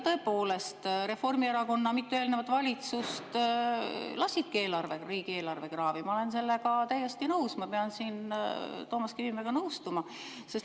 Tõepoolest, Reformierakonna mitu eelnevat valitsust lasidki riigieelarve kraavi, ma olen sellega täiesti nõus, ma pean siin Toomas Kivimäega nõustuma.